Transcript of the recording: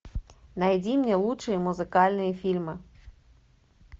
найди мне лучшие музыкальные фильмы